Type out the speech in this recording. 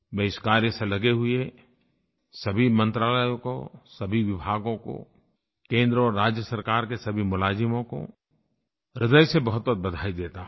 मैं इस कार्य से लगे हुए सभी मंत्रालयों को सभी विभागों को केंद्र और राज्य सरकार के सभी मुलाज़िमों को ह्दय से बहुतबहुत बधाई देता हूँ